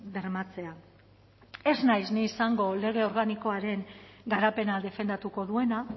bermatzea ez naiz ni izango lege organikoaren garapena defendatuko duena